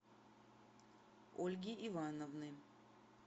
ольги ивановны